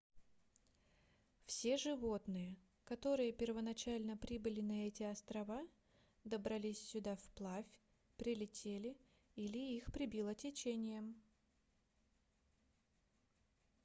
все животные которые первоначально прибыли на эти острова добрались сюда вплавь прилетели или их прибило течением